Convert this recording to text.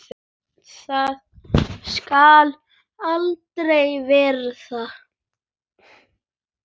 Það skal aldrei verða!